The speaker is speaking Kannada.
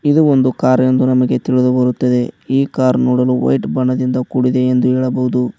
ಇದು ಒಂದು ಕಾರ್ ಎಂದು ನಮಗೆ ತಿಳಿದು ಬರುತ್ತದೆ ಈ ಕಾರ್ ನೋಡಲು ವೈಟ್ ಬಣ್ಣದಿಂದ ಕೂಡಿದೆ ಎಂದು ಹೇಳಬಹುದು.